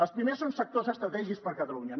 els primers són sectors estratègics per catalunya